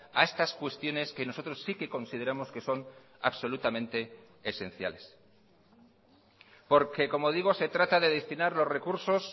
a estas cuestiones que nosotros sí que consideramos que son absolutamente esenciales porque como digo se trata de destinar los recursos